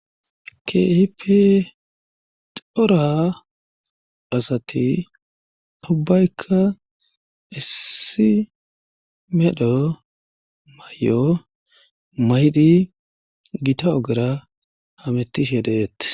kipi xora asati ubbaykka issi medho may7o maydi gita ogera hamettishe deeette